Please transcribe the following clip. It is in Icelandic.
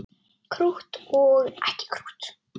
Krútt og ekki krútt.